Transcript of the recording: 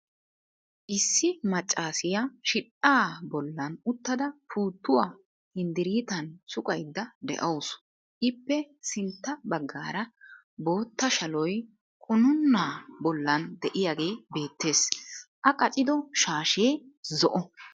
Issi maccassiya shidhdhaa bollan uttada puutuwa hinddriitan suqqayda de'awusu, ippe sinttaa bagaara bootta shaloya qunuunaa bollan de'iyagee beettees, a qacciddo shaashee zo"o.